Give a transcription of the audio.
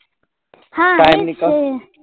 હા